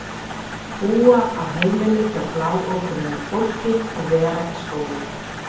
Búa á heimili hjá bláókunnugu fólki og vera í skóla.